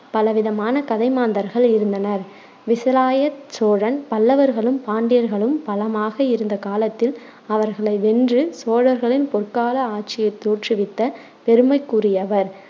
பல விதமான கதை மாந்தர்கள் இருந்தனர் விசயாலய சோழன் பல்லவர்களும் பாண்டியர்களும் பலமாக இருந்த காலத்தில் அவர்களை வென்று சோழர்களின் பொற்கால ஆட்சியை தோற்றுவித்த பெருமைக்குரியவர்.